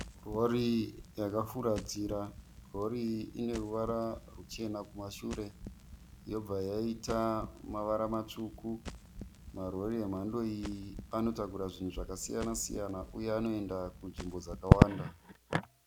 Rori yakafuratira. Rori iyi ine ruvara ruchena kumashure yobva yaita mavara matsvuku. Marori emhando iyi anotakura zvinhu zvakasiyana siyana uye anoenda kunzvimbo dzakawanda